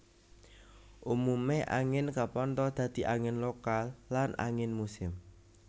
Umumé angin kapantha dadi angin lokal lan angin musim